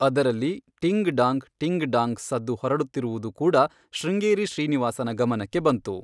ಅದರಲ್ಲಿ ಟಿಂಗ್ ಡಾಂಗ್ ಟಿಂಗ್ ಡಾಂಗ್ ಸದ್ದು ಹೊರಡುತ್ತಿರುವುದು ಕೂಡ ಶೃಂಗೇರಿ ಶ್ರೀನಿವಾಸನ ಗಮನಕ್ಕೆ ಬಂತು.